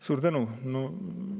Suur tänu!